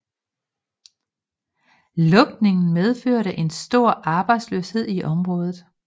Lukningen medførte en stor arbejdsløshed i området